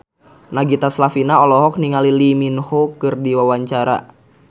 Nagita Slavina olohok ningali Lee Min Ho keur diwawancara